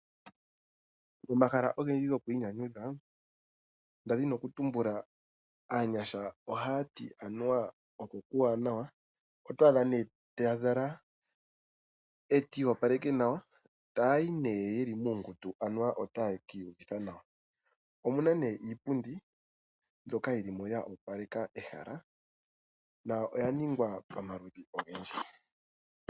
Momahala ogendji gokwiinyanyudha nda dhini okutumbula aanyasha ohaya ti anuwa oko okuuwanawa. Oto adha nee taya zala etaya iyopaleke nawa etaya yi nee yeli muungundu anuwa otaye kiiyuvitha nawa. Omuna nee iipundi mbyoka yilimo yo opaleka ehala na oya ningwa pamaludhi ogendji.